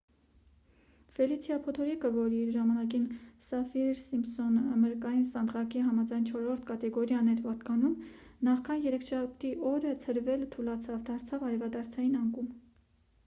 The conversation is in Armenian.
ֆելիցիա փոթորիկը որ իր ժամանակին սաֆիր-սիմփսոն մրրկային սանդղակի համաձայն 4-րդ կատեգորիային էր պատկանում նախքան երեքշաբթի օրը ցրվելը թուլացավ դարձավ արևադարձային անկում